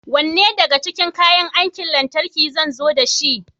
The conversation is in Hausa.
Wanne daga cikin kayan aikin lantarki zan zo dashi?